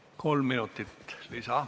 Saate kolm minutit lisaks.